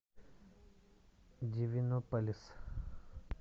дивинополис